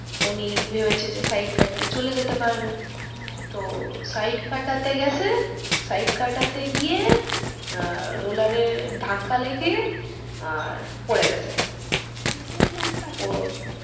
উনি ভেবেছে যে side কাটিয়ে চলে যেতে পারবে তো side কাটাতে গেছে side কাটাতে গিয়ে roller এ ধাক্কা লেগে আহ পরে গেছেন চোট পাইছেন